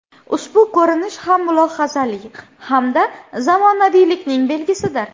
Ushbu ko‘rinish ham mulohazali hamda zamonaviylikning belgisidir.